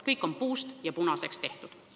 Kõik on puust ja punaseks tehtud.